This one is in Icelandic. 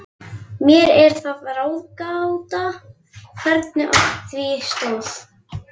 Mér er það ráðgáta, hvernig á því stóð.